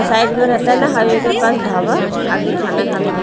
side में रहता है ना हाईवे के पास ढाबा आदमी खाना खाने के--